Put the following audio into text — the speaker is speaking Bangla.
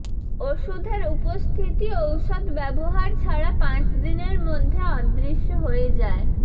ওষুধের উপস্থিতি ঔষধ ব্যবহার ছাড়া পাঁচ দিনের মধ্যে অদৃশ্য হয়ে যায়